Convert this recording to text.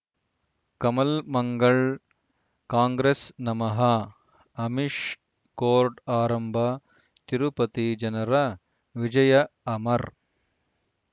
ಕಮಲ್ ಮಂಗಳ್ ಕಾಂಗ್ರೆಸ್ ನಮಃ ಅಮಿಷ್ ಕೋರ್ಟ್ ಆರಂಭ ತಿರುಪತಿ ಜನರ ವಿಜಯ ಅಮರ್